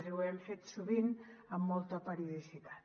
i ho hem fet sovint amb molta periodicitat